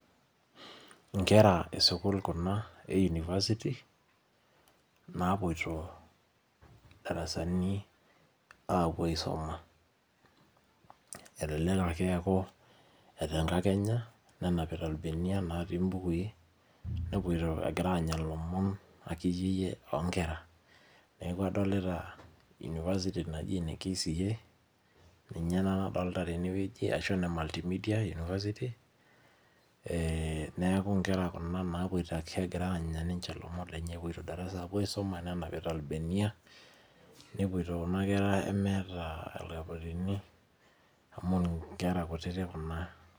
Nkera ee school Kuna ee [university]napuioto darasani apuo aisuma elelek ake eku tenkakenya nenapita irbenia napikie ebukui nepuoiti enyaita elomon oo Nkera neeku adolita university najoitoi ene KCA ninye ena nadolita tenewueji arashu ene multi media university ee neeku Nkera naapuoito egira anya elomon lenye epuoito darasa nenapita ilbenia nepuoiti Kuna kera meeta irkaputini amu Nkera kutiti Kuna